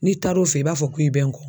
N'i taar'o fɛ i b'a fɔ ko i bɛ n kɔ.